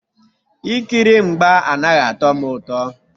Ikiri mgba anaghị atọ m ụtọ